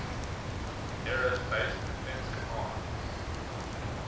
aerospace defense command